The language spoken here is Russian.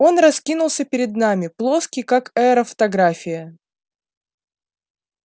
он раскинулся перед нами плоский как аэрофотография